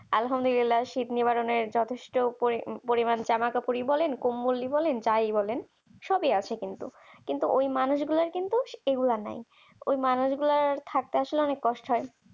আলহামদুলিল্লাহ শূন্যো করনের যথেষ্ট পরিমাণ জামা কাপড় কম্বল বলেন যাই বলেন সবকিছু আছে কিন্তু কিন্তু ওই মানুষগুলো কিন্তু সেগুলো নাই ওই মানুষগুলো থাকতে আসলে খুব কষ্ট হয়